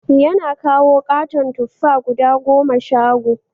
Yana kawo katon tuffa guda goma shago